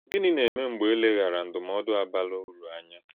Gínị na-ème mgbè e lèghàrà ndụ́mòdù a bàrà ụ̀rù ànyà?